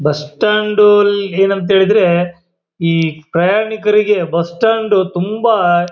bus stand ಏನಂತ ಹೇಳಿದ್ರೆ ಈ ಪ್ರಯಾಣಿಕರಿಗೆ ಬಸ್ ಸ್ಟಾಂಡ್ ತುಂಬಾ.--